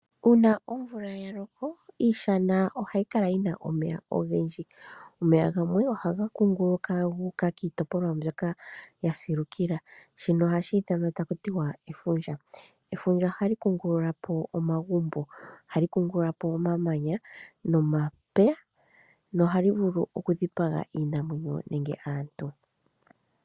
Uuna omvula ya loko iishana ohayi kala yi na omeya ogendji. Omeya gamwe ohaga kungu luka gu uka kiitopolwa mbyoka ya silukila shino ohshi ithanwa taku tiwa efundja. Efundja ohali kungululapo omagumbo, ohali kungululapo omamanya, nomapya nohali vulu oku dhipaga iinamwenyo nenge aantu.